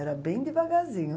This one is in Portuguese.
Era bem devagarzinho.